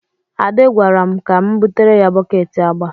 Ade gwara m ka m butere ya bọket agba.